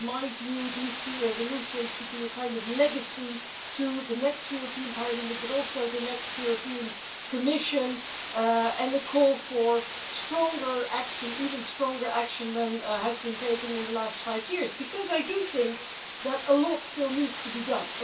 In my view, these two resolutions should be a kind of legacy to the next European Parliament, and also to the next Commission, and a call for stronger action even stronger action than has been taken in the past five years because I think that a lot still needs to be done.